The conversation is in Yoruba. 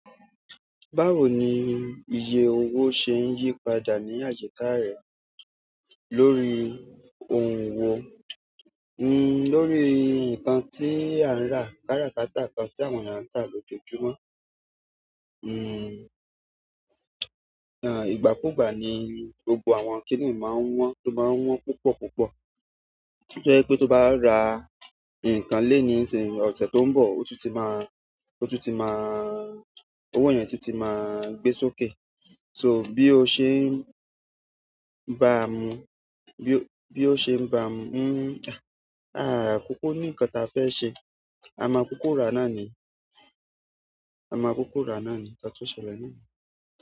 Báwo ni iye owó ṣe ń yípadà ní àyíká rẹ lórí ohun wọ? Hmm lórí nǹkan tí a ń rà, káràkátà kan tí àwọn ènìyàn ń tà lójoojúmọ́, nii ìgbàkúgbà ni gbogbo àwọn kíni n máa ń wọ́n, tó máa ń wọ́n púpọ̀púpọ̀. Jẹ́ pé tó bá ra nǹkan lónìí sín ọ̀sẹ̀ tó ń bọ̀, ó tun ti máa, ó tun ti máa, owó yen tun ti máa gbé sókè. So bí o ṣe ń báa mu, bí o ṣe ń báa mu, ah kuku ní nǹkan tí a fẹ́ ṣe. A máa kuku ra náà ni, a máa kuku ra náà ni, nǹkan tí o ṣẹlẹ̀ náà ni.